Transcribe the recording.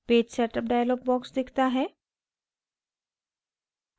page setup dialog box दिखता है